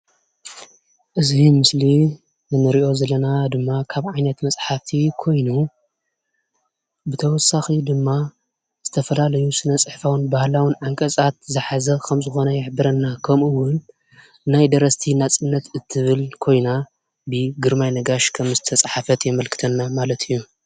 እዚ ምስሊ እንሪኦ ዘለና ድማ ካብ ዓይነት መፅሓፍቲ ኮይኑ ብተወሳኪ ድማ ዝተፈላለዩ ስነ ፅሕፋውን ባህላውን ዓንቀፃት ዝሓዘ ከም ዝኮነ ይሕብረና። ከምኡ እውን ናይ ደረስቲ ናፅነት እትብል ኮይና ብግርማይ ነጋሽ ከምዝተፀሓፈት የመልክተና ማለት እዩ ።